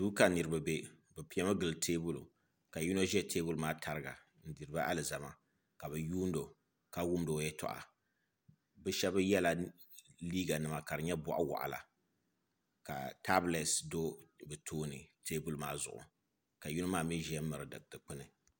Duu ka niraba bɛ bi piɛmi gili teebuli ka yino ʒɛ teebuli maa tariga n diriba alizama ka bi yuundi o ka wumdi o yɛltɔɣa bi shab yɛla liiga nima ka di nyɛ boɣa waɣala ka tabilɛt do bi tooni teebuli maa zuɣu ka yino maa mii ʒiya miri dikpuni